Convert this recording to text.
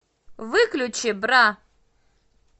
выключи бра